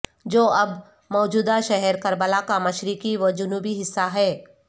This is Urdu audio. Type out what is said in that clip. جو اب موجودہ شہر کربلا کا مشرقی و جنوبی حصہ ہے